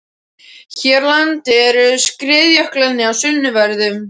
Hér á landi eru skriðjöklarnir í sunnanverðum